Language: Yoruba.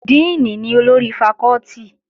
Díìnì ni olórí fakọ́tì